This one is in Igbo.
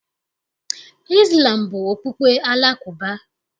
Izlam bụ okpukpe Alakụba.